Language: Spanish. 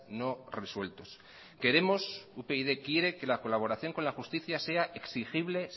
no resueltos queremos upyd quiere que la colaboración con la justicia sea exigible